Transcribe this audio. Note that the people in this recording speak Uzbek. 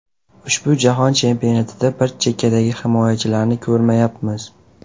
Ushbu Jahon Chempionatida biz chekkadagi himoyachilarni ko‘rmayapmiz.